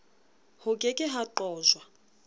ho ke ke ha qojwa